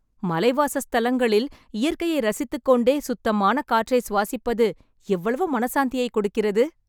மலை வாசஸ்தலங்களில், இயற்கையை ரசித்துக்கொண்டே, சுத்தமான காற்றை சுவாசிப்பது எவ்வளவு மனசாந்தியை கொடுக்கிறது...